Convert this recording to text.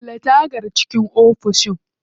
Kulle tagar cikin ofis.